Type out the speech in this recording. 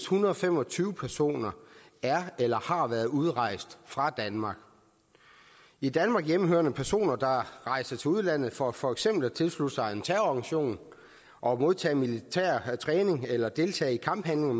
hundrede og fem og tyve personer er eller har været udrejst fra danmark i danmark hjemmehørende personer der rejser til udlandet for for eksempel at tilslutte sig en terrororganisation og modtage militær træning eller deltage i kamphandlinger